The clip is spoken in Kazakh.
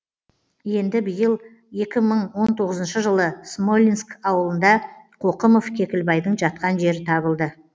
енді биыл екі мың он тоғызыншы жылы смолинск облысында қоқымов кекілбайдың жатқан жері табылды